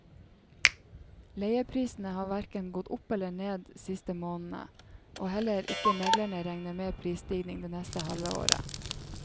Leieprisene har hverken gått opp eller ned siste månedene, og heller ikke meglerne regner med prisstigning det neste halvåret.